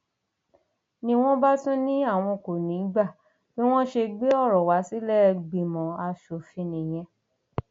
ni wọn bá tún ní àwọn kò ní í gba bí wọn ṣe gbé ọrọ wa sílẹẹgbìmọ asòfin nìyẹn